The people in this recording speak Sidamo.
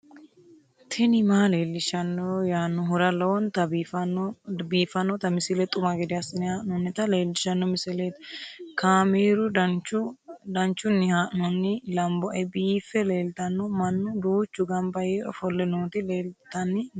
tini maa leelishshanno yaannohura lowonta biiffanota misile xuma gede assine haa'noonnita leellishshanno misileeti kaameru danchunni haa'noonni lamboe biiffe leeeltanno mannu duuchu gamba yee ofolle nooti leltanni nooe